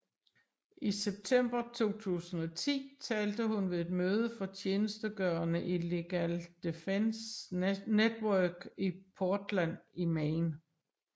I september 2010 talte hun ved et møde for tjenestegørende i Legal Defense Network i Portland i Maine